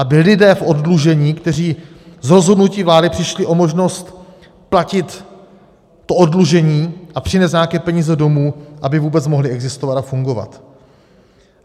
Aby lidé v oddlužení, kteří z rozhodnutí vlády přišli o možnost platit to oddlužení a přinést nějaké peníze domů, aby vůbec mohli existovat a fungovat.